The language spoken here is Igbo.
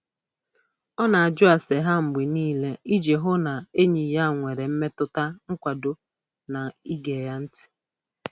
Ọ na-ajụ ase ha mgbe niile iji hụ na enyi ya nwere mmetụta nkwado na ige ya ntị.